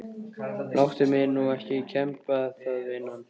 Láttu mig nú kemba það vinan.